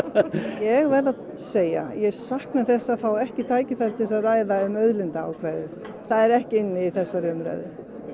ég verð að segja ég sakna þess að fá ekki tækifæri til þess að ræða um auðlindaákvæðið það er ekki inn í þessari umræðu